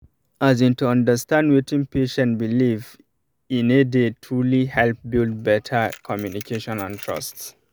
as in to understand wetin patient beleive ine dey truly help build better communication and trust